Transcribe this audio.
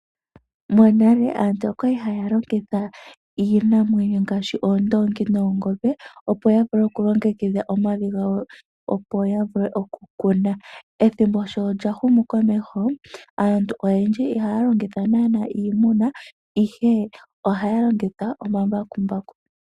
Monale aantu okwali haya longitha iinamwenyo ngaashi oondoongi noongombe opo ya vule okulongekidha omavi gawo opo ya vule okukuna. Ethimbo sho lya humu komeho aantu oyendji ihaya longitha naanaa iimuna ihe ohaya longitha omambakumbaku.